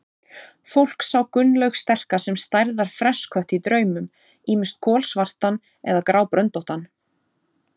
Fólk sá Gunnlaug sterka sem stærðar fresskött í draumum, ýmist kolsvartan eða grábröndóttan.